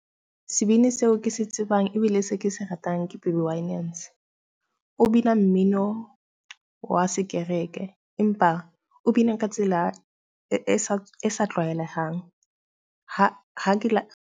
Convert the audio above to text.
Sebini seo ke se tsebang ebile se ke se ratang ke Baby Winans. O bina mmino wa sekereke empa o bina ka tsela e sa e sa tlwaelehang .